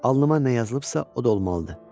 Alnıma nə yazılıbsa, o da olmalıdır.